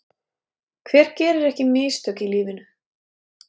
Hver gerir ekki mistök í lífinu?